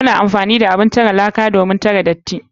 Muna amfani da abun tare laka domin tare datti.